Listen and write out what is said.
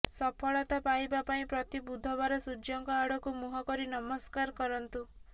ସଫଳତା ପାଇବା ପାଇଁ ପ୍ରତି ବୁଧବାର ସୂର୍ଯ୍ୟଙ୍କ ଆଡ଼କୁ ମୁହଁ କରି ନମସ୍କାର କରିନ୍ତୁ